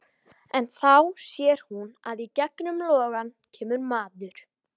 En þá sér hún að í gegnum logana kemur maður.